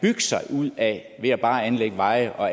sig ud af ved bare at anlægge veje og